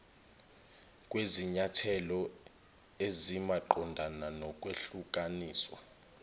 kwizinyathelo ezimaqondana nokwehlukaniswa